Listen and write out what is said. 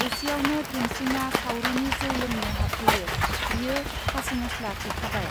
एसेयावनो धोनसिंआ सावरिनि जौ लोंनो हाबफैयो बियो खासिमसला फेखाबाय.